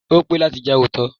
Ó pé láti jẹ́ olóòótọ́.